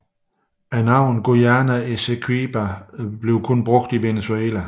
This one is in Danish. Navnet Guayana Esequiba anvendes kun af Venezuela